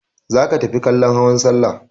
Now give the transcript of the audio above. Za ka tafi kallon hawan salla!